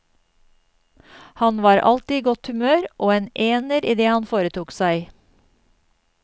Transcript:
Han var alltid i godt humør, og en ener i det han foretok seg.